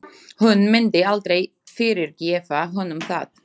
Hún myndi aldrei fyrirgefa honum það.